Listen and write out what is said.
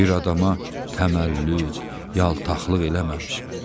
Bir adama təməllüd, yaltaqlıq eləməmişəm.